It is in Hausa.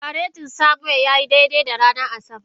Faretin Samuel ya yi daidai da ranar Asabar.